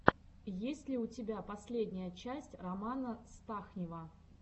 есть ли у тебя последняя часть романа стахнива